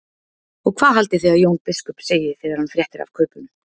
Og hvað haldið þið að Jón biskup segi þegar hann fréttir af kaupunum?